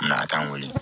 Na t'an wele